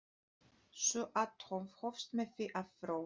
Sú athöfn hófst með því að próf.